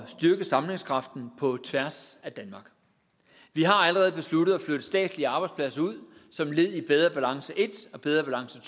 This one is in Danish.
at styrke sammenhængskraften på tværs af danmark vi har allerede besluttet at flytte statslige arbejdspladser ud som led i bedre balance i og bedre balance